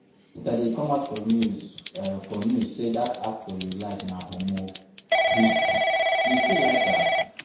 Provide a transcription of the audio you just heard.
Yesterday e come out for news for news say dat actor you like na homo, you still like am?